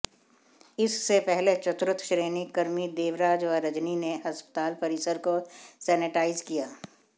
इससे पहले चतुर्थ श्रेणी कर्मी देवराज व रजनी ने अस्पताल परिसर को सेनेटाइज किया